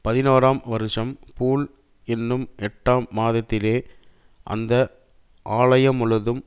பதினோராம் வருஷம் பூல் என்னும் எட்டாம் மாதத்திலே அந்த ஆலயமுழுதும்